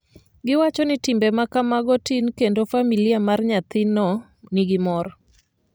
giwachoni timbe ma kamago tin kendo familia mar nyathino nigi mor